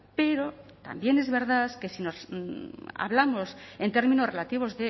pero también es verdad que si hablamos en términos relativos